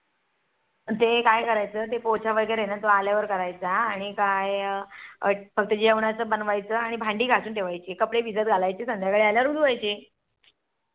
अन ते काय करायचं ते पोछा वैगेरे ते आल्यावर करायचं आणि काय फक्त जेवणाचं बनवायचं आणि भांडी घासून ठेवायची कपडे भिजत घालायचे आणि संध्याकाळी आल्या वर धुवायचे.